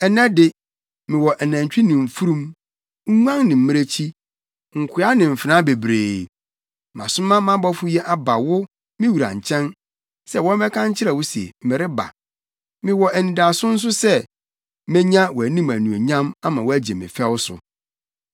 Nnɛ de, mewɔ anantwi ne mfurum, nguan ne mmirekyi, nkoa ne mfenaa bebree. Masoma mʼabɔfo yi aba wo, me wura nkyɛn, sɛ wɔmmɛka nkyerɛ wo se, mereba. Mewɔ anidaso nso sɛ, menya wʼanim anuonyam ama woagye me fɛw so.’ ”